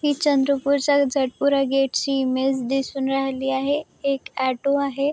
ही चंद्रपूर च्या जटपुरा गेट ची इमेज दिसून राहिली आहे एक ऑटो आहे.